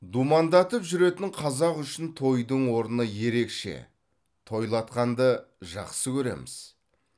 думандатып жүретін қазақ үшін тойдың орны ерекше тойлатқанды жақсы көреміз